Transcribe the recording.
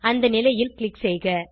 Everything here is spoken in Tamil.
அந்த நிலையில் க்ளிக் செய்க